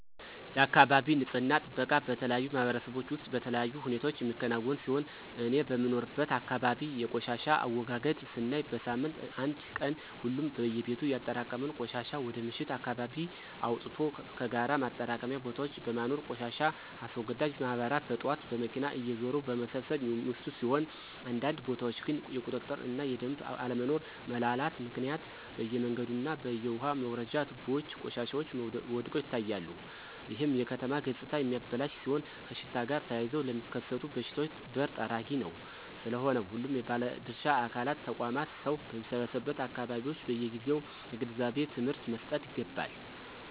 የአካባቢ ንፅህና ጥበቃ በተለያዩ ማህበረሰቦች ውስጥ በተለያዩ ሁኔታዎች የሚከናወን ሲሆን እኔ በምኖርበት አካባቢ የቆሻሻ አወጋገድ ስናይ በሳምንት አንድ ቀን ሁሉም በየቤቱ ያጠራቀመውን ቆሻሻ ወደ ምሽት አካባቢ አወጥቶ ከጋራ ማጠራቀሚያ ቦታዎች በማኖር ቆሻሻ አስወጋጅ ማህበራት በጥዋት በመኪና እየዞሩ በመሰብሰብ የሚወስዱት ሲሆን አንዳንድ ቦታዎች ግን የቁጥጥር እና የደምቦች አለመኖሮ (መላላት)ምክንያት በየመንገዱ እና በየውሃ መውረጃ ትቦዎች ቆሻሻዎች ወድቀው ይታያሉ ይህም የከተማ ገፅታ የሚያበላሽ ሲሆን ከሽታ ጋር ተያይዘው ለሚከሰቱ በሽታዎች በር ጠራጊ ነው። ስለሆነም ሁሉም ባለድርሻ አካላት (ተቋማት) ሰው በሚሰበሰቡበት አካባቢዎች በየጊዜው የግንዛቤ ትምህርት መሰጠት ይገባል።